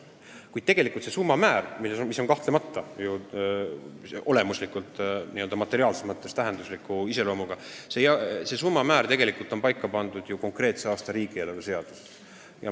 Kuid tegelikult see summa, mis on kahtlemata materiaalses mõttes suure tähtsusega, pannakse paika konkreetse aasta riigieelarve seaduses.